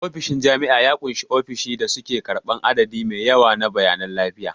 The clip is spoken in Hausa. Ofishin jami'a ya ƙunshi ofisoshin da suke karɓar adadi mai yawa na bayanan lafiya.